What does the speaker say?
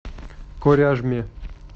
коряжме